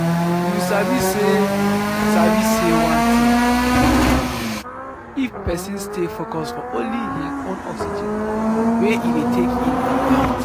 you sabi say sabi say one thing dey calming if person stay focus for only hin own oxygen wey e dey take in and out.